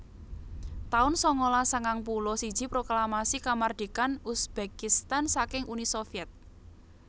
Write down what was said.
taun sangalas sangang puluh siji Proklamasi Kamardikan Uzbekistan saking Uni Sovyet